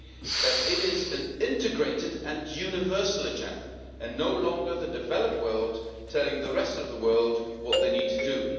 namely that it is an integrated and universal agenda, and no longer the developed world' telling the rest of the world what they need to do.